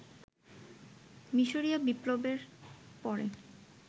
মিসরীয় বিপ্লবের পরে